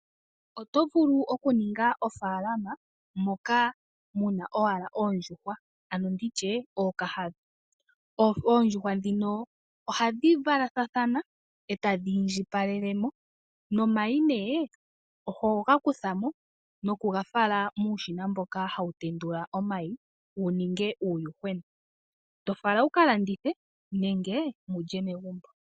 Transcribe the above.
Oto vulu okuninga ofalama moka mu na owala oondjuhwa ano ookahandha. Oondjuhwa ndhino ohadhi valathana e tadhi indjipalelemo nomayi oho ga kuthamo nokugafala muushina wokutendula omayi wu ninge uuyuhwena e to fala wuka landithe nenge wu lye megumbo.